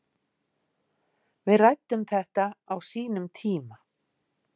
Við ræddum þetta á sínum tíma